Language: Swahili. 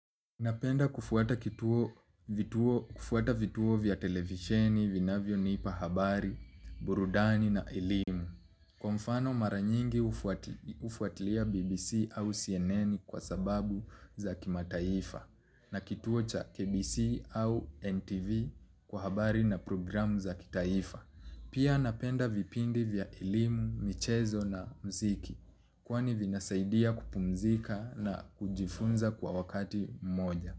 Napenda kufuata vituo vya televisheni, vinavyo nipa habari, burudani na elimu. Kwa mfano mara nyingi ufuatilia BBC au CNN kwa sababu za kima taifa na kituo cha KBC au NTV kwa habari na programu za kitaifa. Pia napenda vipindi vya ilimu, michezo na mziki kwani vinasaidia kupumzika na kujifunza kwa wakati mmoja.